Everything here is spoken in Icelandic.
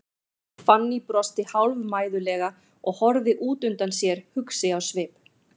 Fanný brosti hálfmæðulega og horfði út undan sér, hugsi á svip.